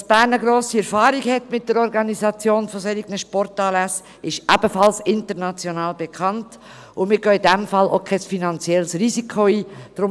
Dass Bern eine grosse Erfahrung mit der Organisation von solchen Sportanlässen hat, ist ebenfalls international bekannt, und wir gehen in diesem Fall auch kein finanzielles Risiko ein.